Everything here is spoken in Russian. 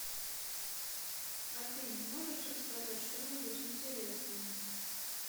афина можешь рассказать что нибудь интересное